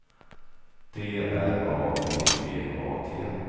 D R A B B A T